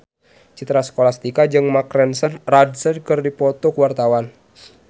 Citra Scholastika jeung Mark Ronson keur dipoto ku wartawan